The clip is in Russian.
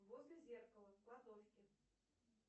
возле зеркала в кладовке